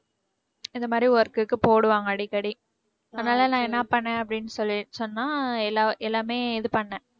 இந்த மாதிரி work க்கு போடுவாங்க அடிக்கடி. அதனால நான் என்ன பண்னேன் அப்படின்னு சொல்லி~ சொன்னா எல்லா எல்லாமே இது பண்ணேன்